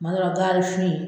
kuma dɔ la gaari fin.